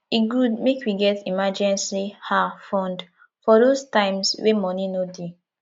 e good make we get emergency um fund for those times wey money no dey